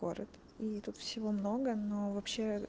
город и тут всего много но вообще